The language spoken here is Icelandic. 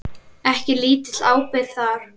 Ekki lítil ábyrgð það.